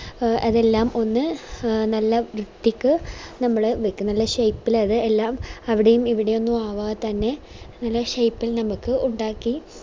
A അതെല്ലാം ഒന്ന് നല്ല വൃത്തിക്ക് നമ്മള് വെക്ക നല്ല shape ഇൽ അത് എല്ലാം അവിടേം ഇവിടേം ഒന്നും ആകാതെ തന്നെ അതിൻറെ shape ഇൽ നമ്മക് ഉണ്ടാക്കി